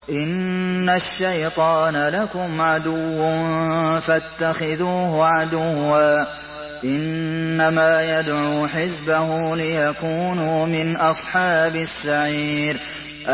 إِنَّ الشَّيْطَانَ لَكُمْ عَدُوٌّ فَاتَّخِذُوهُ عَدُوًّا ۚ إِنَّمَا يَدْعُو حِزْبَهُ لِيَكُونُوا مِنْ أَصْحَابِ السَّعِيرِ